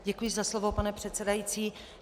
Děkuji za slovo, pane předsedající.